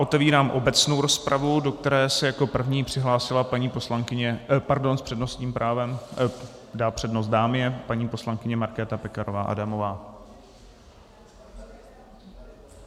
Otevírám obecnou rozpravu, do které se jako první přihlásila paní poslankyně - pardon, s přednostním právem - dá přednost dámě - paní poslankyně Markéta Pekarová Adamová.